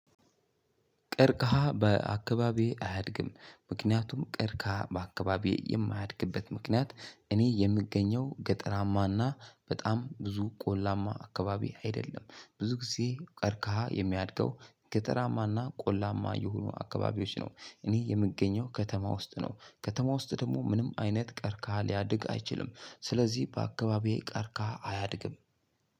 ቅርቀሃ በአካባቢዬ አያድግም ምክንያቱም ቅርቀሃ በአካባቢዬ የማያድግበት ምክንያት እኔ የምገኘው ገጠራማና በጣም ብዙ ቆላማ አካባቢ አይደለም ብዙ ጊዜ ቅርቀሃ የሚያድገው ገጠራማና ቆላማ የሆኑ አካባቢዎች ነው። እኔ የምገኘው ከተማ ውስጥ ነው ከተማ ውስጥ ደግሞ ምንም አይነት ቅርቀሃ ሊያድግ አይችልም። ስለዚህ በአካባቢዬ ቅርቀሃ አያድግም።